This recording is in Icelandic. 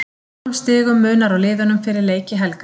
Fjórum stigum munar á liðunum fyrir leiki helgarinnar.